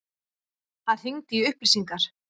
Hann hringdi í upplýsingar.